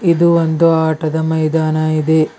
ಇದು ಒಂದು ಆಟದ ಮೈದಾನ ಇದೆ.